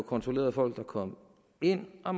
kontrolleret folk der kom ind og